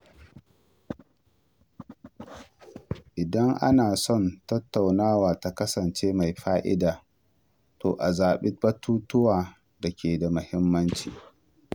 Idan ana son tattaunawa ta kasance mai fa’ida, to a zaɓi batutuwan da ke da muhimmanci.